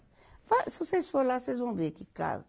Fa, se vocês forem lá, vocês vão ver que casa.